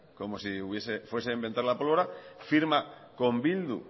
como si fuese a inventar la pólvora firma con bildu